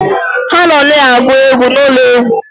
Ha nọ na-agụ egwu n'ụlọ egwu.